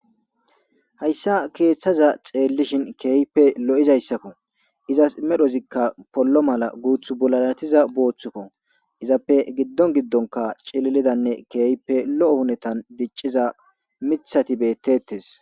Hayssa keeththaza xeellishin keeehippe lo7izaysakko; izas medhozikka pollo mala guuththu bollaalathiza boothukoo; izappe giddon giddonkka cililidanne keehipe lo7o huneethan dicciza miththathi beeththeeththes.